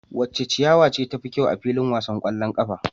Wace ciyawa ce tafi kyau a filin wasan kwallon kafa?